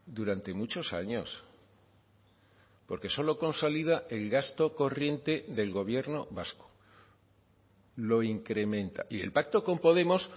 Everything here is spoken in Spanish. durante muchos años porque solo consolida el gasto corriente del gobierno vasco lo incrementa y el pacto con podemos